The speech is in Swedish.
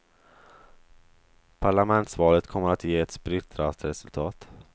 Parlamentsvalet kommer att ge ett splittrat resultat.